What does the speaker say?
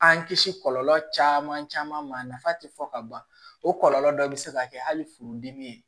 An kisi kɔlɔlɔ caman caman ma a nafa ti fɔ ka ban o kɔlɔlɔ dɔ bi se ka kɛ hali furudimi ye